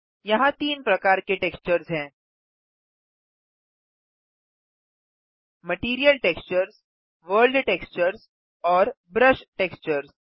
यहाँ तीन प्रकार के टेक्सचर्स हैं मटीरियल टेक्सचर्स वर्ल्ड टेक्सचर्स और ब्रश टेक्सचर्स